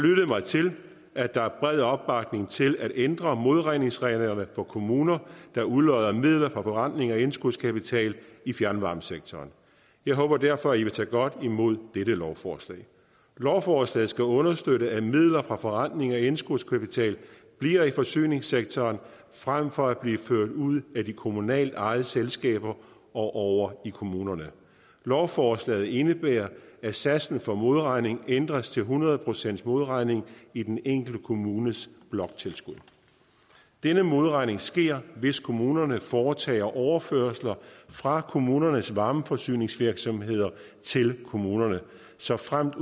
lyttet mig til at der er bred opbakning til at ændre modregningsreglerne for kommuner der udlodder midler fra forrentning af indskudskapital i fjernvarmesektoren jeg håber derfor i vil tage godt imod dette lovforslag lovforslaget skal understøtte at midlerne fra forrentning af indskudskapitalen bliver i forsyningssektoren frem for at blive ført ud af de kommunalt ejede selskaber og over i kommunerne lovforslaget indebærer at satsen for modregning ændres til hundrede procent modregning i den enkelte kommunes bloktilskud denne modregning sker hvis kommunerne foretager overførsler fra kommunernes varmeforsyningsvirksomheder til kommunerne såfremt